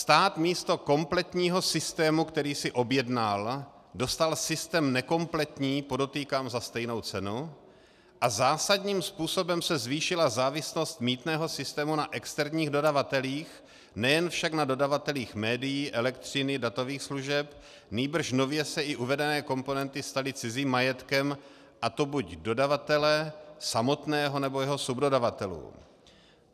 Stát místo kompletního systému, který si objednal, dostal systém nekompletní, podotýkám za stejnou cenu, a zásadním způsobem se zvýšila závislost mýtného systému na externích dodavatelích, nejen však na dodavatelích médií, elektřiny, datových služeb, nýbrž nově se i uvedené komponenty staly cizím majetkem, a to buď dodavatele samotného, nebo jeho subdodavatelů.